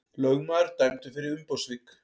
Lögmaður dæmdur fyrir umboðssvik